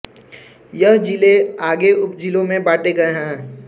यह ज़िले आगे उपज़िलों में बांटे गए हैं